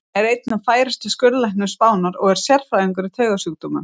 Vinur minn er einn af færustu skurðlæknum Spánar og er sérhæfður í taugasjúkdómum.